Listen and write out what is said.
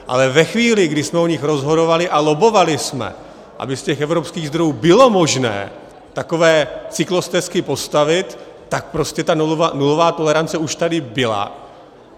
Ale ve chvíli, kdy jsme o nich rozhodovali a lobbovali jsme, aby z těch evropských zdrojů bylo možné takové cyklostezky postavit, tak prostě ta nulová tolerance už tady byla.